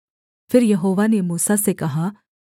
फिर यहोवा ने मूसा से कहा